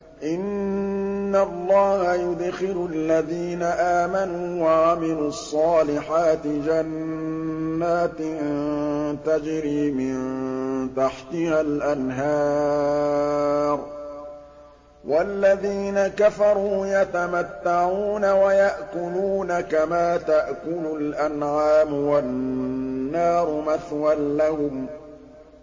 إِنَّ اللَّهَ يُدْخِلُ الَّذِينَ آمَنُوا وَعَمِلُوا الصَّالِحَاتِ جَنَّاتٍ تَجْرِي مِن تَحْتِهَا الْأَنْهَارُ ۖ وَالَّذِينَ كَفَرُوا يَتَمَتَّعُونَ وَيَأْكُلُونَ كَمَا تَأْكُلُ الْأَنْعَامُ وَالنَّارُ مَثْوًى لَّهُمْ